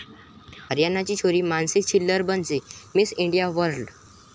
हरियाणाची छोरी मानुषी छिल्लर बनली 'miss India world'